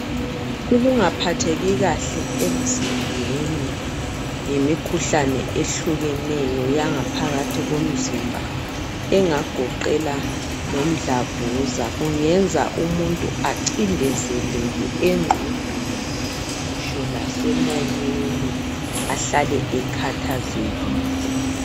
Ukungaphatheki kahle emzimbeni ngemikhuhlane ehlukeneyo yangaphakathi komzimba engagoqela lomdlavuza kungenza umuntu ancindezeleke emqondweni ngitsho lase moyeni ahlale ekhathazekile.